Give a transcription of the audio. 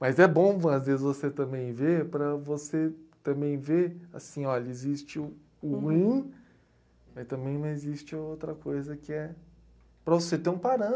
Mas é bom, às vezes, você também ver, para você também ver, assim, olha, existe o ruim, mas também existe outra coisa que é para você ter um parâmetro